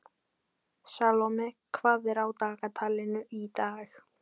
Salome, hvað er á dagatalinu í dag?